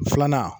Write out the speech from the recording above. Filanan